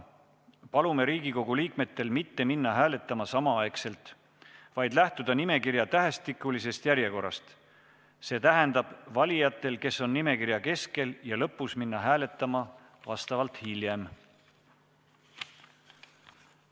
Palume Riigikogu liikmetel mitte minna hääletama samal ajal, vaid lähtuda tähestikulisest järjekorrast, see tähendab, et valijatel, kes on nimekirja keskel ja lõpus, tuleks minna hääletama vastavalt hiljem.